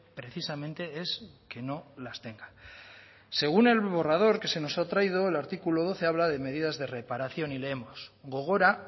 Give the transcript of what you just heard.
precisamente es que no las tenga según el borrador que se nos ha traído el artículo doce habla de medidas de reparación y leemos gogora